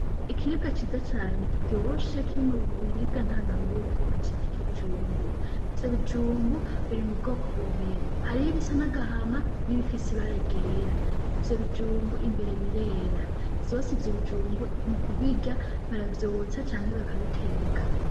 Ikiribwa ciza cane kiryoshe kiri mu biribwa ntanganguvu bacita ikijumbu. Ivyo bijumbu biri mu bwoko bubiri hariho ibisa n'agahama n'ibifise ibara ryera. Ivyo bijumbu imbere birera ; vyose ivyo bijumbu mukubirya baravyotsa canke bakabiteka.